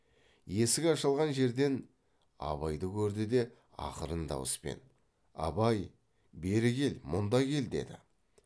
есік ашылған жерден абайды көрді де ақырын дауыспен абай бері кел мұнда кел деді